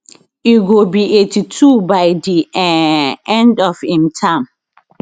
e go be 82 by di um end of im term